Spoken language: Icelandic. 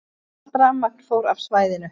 Allt rafmagn fór af svæðinu